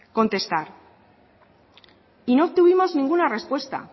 contestar y no obtuvimos ninguna respuesta